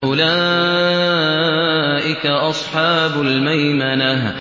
أُولَٰئِكَ أَصْحَابُ الْمَيْمَنَةِ